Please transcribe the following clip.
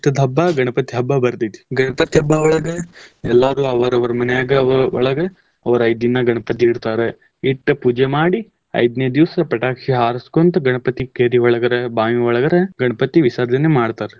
ಹಬ್ಬಾ ಗಣಪತಿ ಹಬ್ಬಾ ಬರ್ತೇತಿ. ಗಣಪತಿ ಹಬ್ಬಾ ಒಳಗ್ ಎಲ್ಲಾರು ಅವರವರ ಮನ್ಯಾಗ್ ಒ~ ಒಳಗ್ ಅವ್ರ್ ಐದ್ ದಿನಾ ಗಣಪತಿ ಇಡ್ತಾರ. ಇಟ್ಟ್ ಪೂಜೆ ಮಾಡಿ ಐದನೇ ದಿವಸ ಪಟಾಕ್ಷಿ ಹಾರಸ್ಕೊಂತ ಗಣಪತಿ ಕೆರಿ ಒಳಗಾರ ಬಾವಿ ಒಳಗಾರ ಗಣಪತಿ ವಿಸರ್ಜನೆ ಮಾಡ್ತರ್.